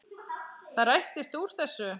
Það rættist úr þessu.